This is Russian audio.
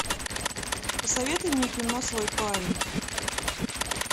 посоветуй мне кино свой парень